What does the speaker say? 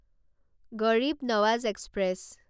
গাড়ীব নৱাজ এক্সপ্ৰেছ